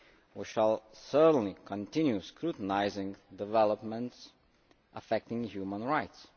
We shall certainly continue scrutiny of developments affecting human rights.